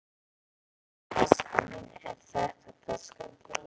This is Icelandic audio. Þetta er taskan mín. Er þetta taskan þín?